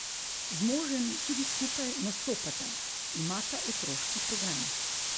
Z možem tudi skupaj nastopata, imata otroški program.